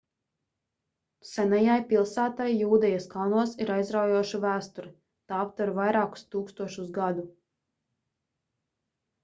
senajai pilsētai jūdejas kalnos ir aizraujoša vēsture tā aptver vairākus tūkstošus gadu